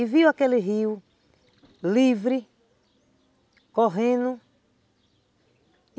E viu aquele rio livre, correndo.